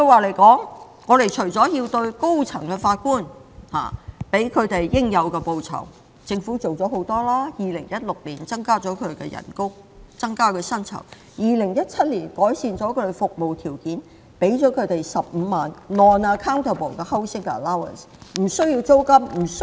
為了給予高院法官應有的報酬，政府已做了很多，例如在2016年增加他們的薪酬 ，2017 年改善他們的服務條件，給予他們15萬元的無需單據證明的房屋津貼。